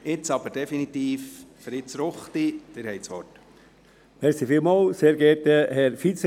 Jetzt aber definitiv: Fritz Ruchti, Sie haben das Wort.